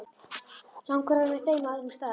Langar að vera með þeim á öðrum stað.